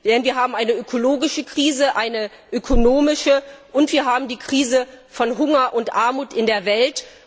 Denn wir haben eine ökologische und eine ökonomische Krise, und wir haben eine Krise von Hunger und Armut in der Welt.